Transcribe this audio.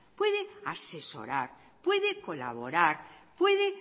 puede asesorar puede colaborar puede